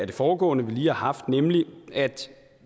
det foregående vi lige har haft er at